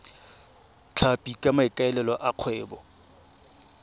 tlhapi ka maikaelelo a kgwebo